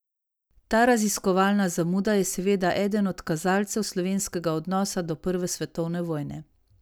Ta raziskovalna zamuda je seveda eden od kazalcev slovenskega odnosa do prve svetovne vojne.